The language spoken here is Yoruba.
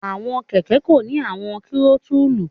Awọn kẹkẹ ko ni awọn tirotulu